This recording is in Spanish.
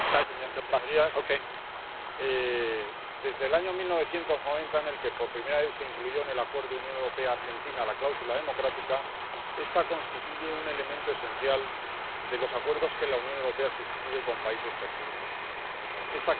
Señor presidente, desde el año 1990 en que por primera vez se incluyó en el Acuerdo Unión Europea Argentina la cláusula democrática, esta constituye un elemento esencial de los acuerdos que la Unión Europea suscribe con terceros países.